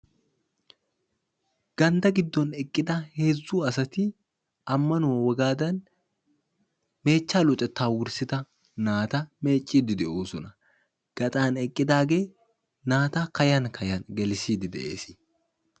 gandda giddon eqqida heezzu asati ammanuwaa wogaddani meechcha luxetta wurssida naata meeccide de'oossona; gaxxan eqqidaagee naata kayan kayan gelisside de'ees.